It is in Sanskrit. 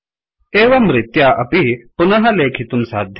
एवं रीत्या अपि पुनः लेखितुं साध्यम्